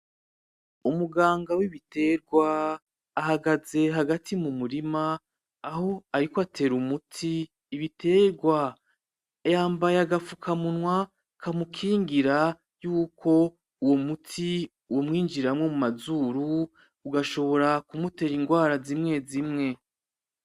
Umuganga w'biterwa ahagaze hagati mumurima aho ariko atera umuti ibiterwa yambaye agafukamunwa kamukigira yuko uwo muti umwinjiramwo mu mazuru ugashobora k'umutera irwara zimwe zimwe.